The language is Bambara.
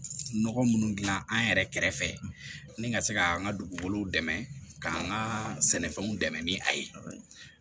Nɔgɔ munnu dilan an yɛrɛ kɛrɛfɛ ni ka se ka an ka dugukolow dɛmɛ k'an ka sɛnɛfɛnw dɛmɛ ni a ye